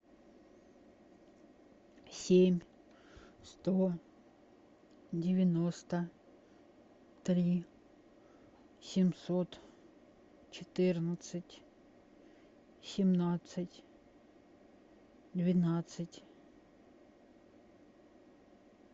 семь сто девяносто три семьсот четырнадцать семнадцать двенадцать